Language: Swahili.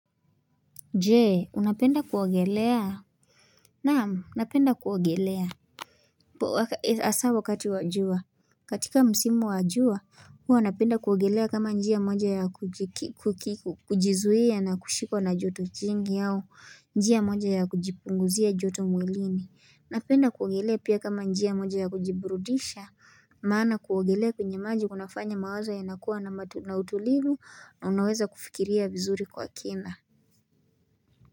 Je unapenda kuogelea Naam napenda kuogelea Asa wakati wa jua katika msimu wa jua Huwa napenda kuogelea kama njia moja ya kujizuia na kushikwa na joto jingi au njia moja ya kujipunguzia jotu mwilini Unapenda kuogelea pia kama njia moja ya kujiburudisha Maana kuogelea kwenye maji unafanya mawazo yanakuwa na utulivu na unaweza kufikiria vizuri kwa kina.